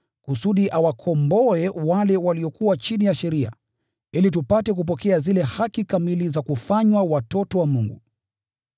kusudi awakomboe wale waliokuwa chini ya sheria, ili tupate kupokea zile haki kamili za kufanywa watoto wa Mungu.